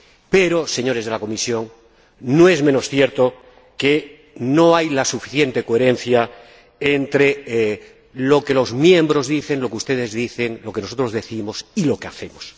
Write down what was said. Pero, señores de la Comisión, no es menos cierto que no hay suficiente coherencia entre lo que los miembros dicen, lo que ustedes dicen, lo que nosotros decimos y lo que hacemos.